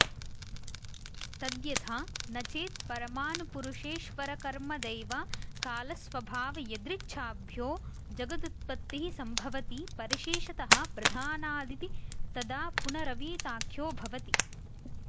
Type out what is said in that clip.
तद्यथा न चेत् परमाणुपुरुषेश्वरकर्मदैवकालस्वभावयदृच्छाभ्यो जगदुत्पत्तिः सम्भवति परिशेषतः प्रधानादिति तदा पुनरवीताख्यो भवति